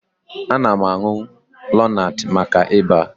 Ana m aṅụ lonat maka Ịba